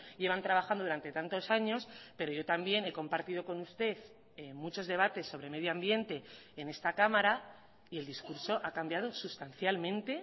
llevan trabajando durante tantos años pero yo también he compartido con usted muchos debates sobre medioambiente en esta cámara y el discurso ha cambiado sustancialmente